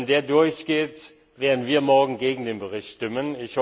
Wenn der durchgeht, werden wir morgen gegen diesen Bericht stimmen.